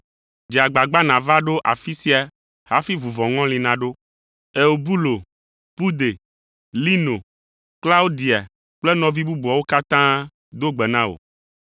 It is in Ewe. Dze agbagba nàva ɖo afi sia hafi vuvɔŋɔli naɖo. Eubulo, Pude, Lino, Klaudia kple nɔvi bubuawo katã do gbe na wò.